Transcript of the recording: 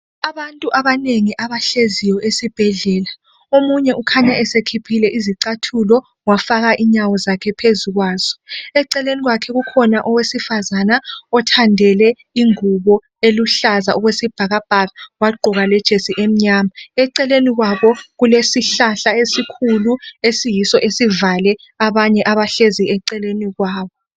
Abantu abanengi abahleziyo esibhedlela, omunye ukhanya esekhiphile izicathulo wafaka inyawo zakhe phezu kwazo. Eceleni kwakhe kukhona owesifazana othandele ingubo eluhlaza okwesibhakabhaka wagqoka lejesi emnyama. Eceleni kwabo kulesihlahla esikhulu esiyiso esivale abanye abahlezi eceleni kwabo.